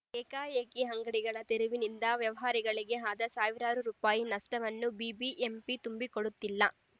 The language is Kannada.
ಏಕಾಏಕಿ ಅಂಗಡಿಗಳ ತೆರವಿನಿಂದ ವ್ಯಾಪಾರಿಗಳಿಗೆ ಆದ ಸಾವಿರಾರು ರೂಪಾಯಿ ನಷ್ಟವನ್ನೂ ಬಿಬಿಎಂಪಿ ತುಂಬಿಕೊಡುತ್ತಿಲ್ಲ